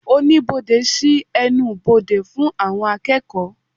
Oníbodè sí ẹnubodè fún àwọn akeeko